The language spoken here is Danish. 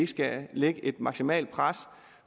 skal lægge et maksimalt pres